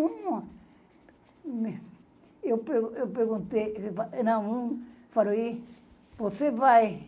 Eu perguntei e... Não, um... Falei... Você vai...